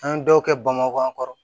An ye dɔw kɛ bamakɔ kɔrɔ